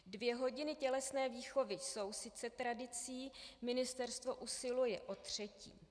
Dvě hodiny tělesné výchovy jsou sice tradicí, ministerstvo usiluje o třetí.